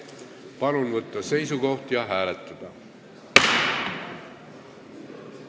Palun võtta seisukoht ja hääletada!